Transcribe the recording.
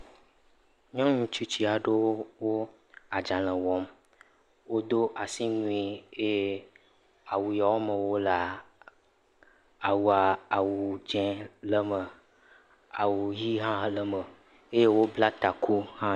Nyɔnutsitsi aɖewo adzalẽ wɔm wodo asiwui eye awu yawo me wolea awu dzĩ awu ɣi ha le eme eye wobla taku